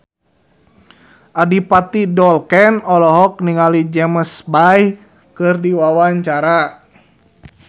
Adipati Dolken olohok ningali James Bay keur diwawancara